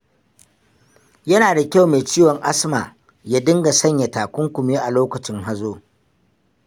Yana da kyau mai ciwon asma ya dinga sanya takunkumi a lokacin hazo.